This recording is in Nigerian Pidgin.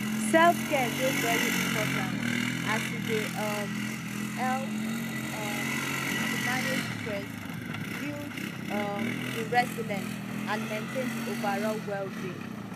selfcare dey very important as e dey um help um to manage stress build um di resilience and maintain di overall wellbeing